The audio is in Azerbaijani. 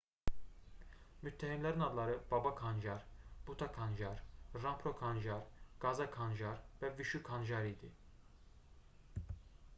müttəhimlərin adları baba kanjar bhutha kanjar rampro kanjar gaza kanjar və vishu kanjar idi